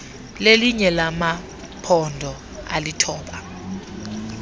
lelinye lamaphondo alithoba